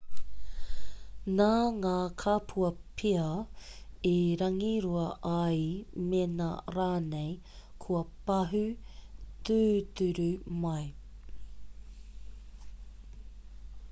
nā ngā kapua pea i rangirua ai mēnā rānei kua pahū tūturu mai